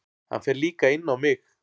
Hann fer líka inn á mig.